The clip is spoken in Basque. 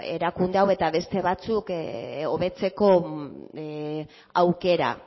erakunde hau eta beste batzuk hobetzeko aukera